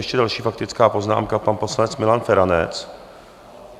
Ještě další faktická poznámka, pan poslanec Milan Feranec.